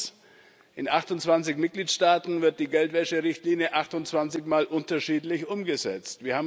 Erstens In 28 Mitgliedstaaten wird die Geldwäscherichtlinie 28 mal unterschiedlich umgesetzt.